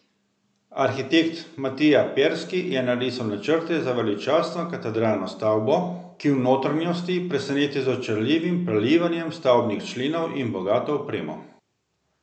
Arhitekt Matija Perski je narisal načrte za veličastno katedralno stavbo, ki v notranjosti preseneti z očarljivim prelivanjem stavbnih členov in bogato opremo.